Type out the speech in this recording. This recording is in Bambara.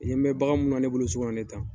I ɲe be bagan minnu na, ne bolo so kɔnɔ nin ye tan